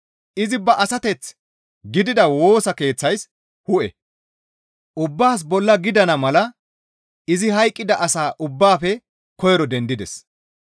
Izi ba asateth gidida Woosa Keeththays hu7e; ubbaas bolla gidana mala izi hayqqida asa ubbaafe koyro dendides.